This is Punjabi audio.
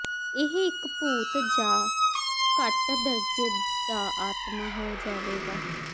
ਇਹ ਇੱਕ ਭੂਤ ਜ ਘੱਟ ਦਰਜੇ ਦਾ ਆਤਮਾ ਹੋ ਜਾਵੇਗਾ